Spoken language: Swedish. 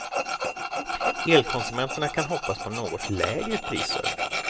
Elkonsumenterna kan hoppas på något lägre priser.